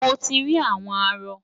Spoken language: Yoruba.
Mo ti rí àwọn arọ.